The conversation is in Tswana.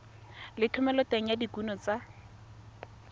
le thomeloteng ya dikuno tsa